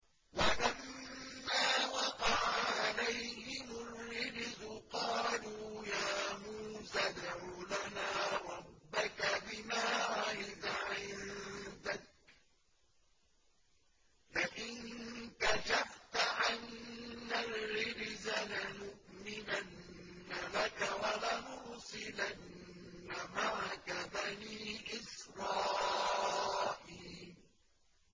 وَلَمَّا وَقَعَ عَلَيْهِمُ الرِّجْزُ قَالُوا يَا مُوسَى ادْعُ لَنَا رَبَّكَ بِمَا عَهِدَ عِندَكَ ۖ لَئِن كَشَفْتَ عَنَّا الرِّجْزَ لَنُؤْمِنَنَّ لَكَ وَلَنُرْسِلَنَّ مَعَكَ بَنِي إِسْرَائِيلَ